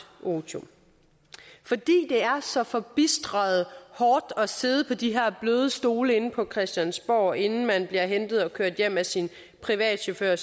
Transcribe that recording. otium fordi det er så forbistret hårdt at sidde på de her bløde stole inde på christiansborg inden man bliver hentet og kørt hjem af sin privatchauffør